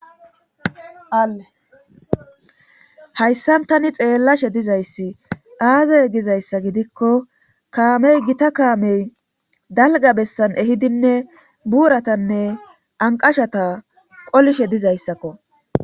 aehayssan tani xeellashe dizayssi aazay gizayssa gidikko kaamey gita kaamey dalga bessan ehidinne buuratanne anqashata qolishe dizayssakko